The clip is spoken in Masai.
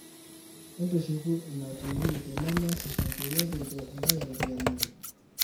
entushuku ina tv tenemeesisho peyie kincho intae ropiyani inyi